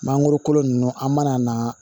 Mangoro kolo ninnu an mana na